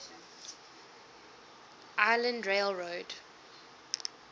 island rail road